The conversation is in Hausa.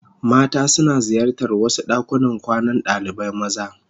Mata suna ziyartar wasu dakunan kwanan dalibai maza.